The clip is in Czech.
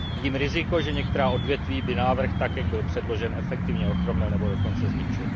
Vidím riziko, že některá odvětví by návrh tak, jak byl předložen, efektivně ochromil nebo dokonce zničil.